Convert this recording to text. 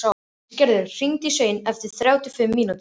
Ísgerður, hringdu í Svein eftir þrjátíu og fimm mínútur.